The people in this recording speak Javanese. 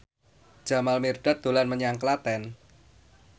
Jamal Mirdad dolan menyang Klaten